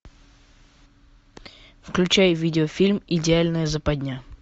включай видеофильм идеальная западня